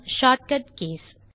shortcut keys